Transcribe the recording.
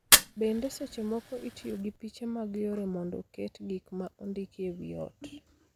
Bende, seche moko itiyo gi piche mag yore mondo oket gik ma ondiki e wi ot.